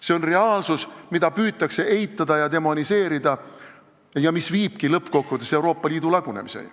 See on reaalsus, mida püütakse eitada ja demoniseerida ning mis viibki lõppkokkuvõttes Euroopa Liidu lagunemiseni.